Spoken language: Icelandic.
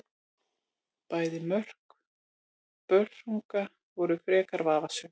Bæði mörk Börsunga voru frekar vafasöm.